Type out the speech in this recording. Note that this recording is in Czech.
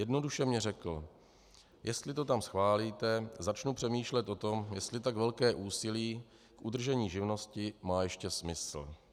Jednoduše mi řekl: "Jestli to tam schválíte, začnu přemýšlet o tom, jestli tak velké úsilí k udržení živnosti má ještě smysl."